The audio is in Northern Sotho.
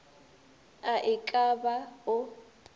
a e ka ba o